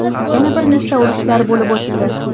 Yana bir nechta urushlar bo‘lib o‘tdi.